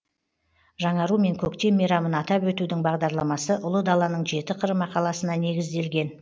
жаңару мен көктем мейрамын атап өтудің бағдарламасы ұлы даланың жеті қыры мақаласына негізделген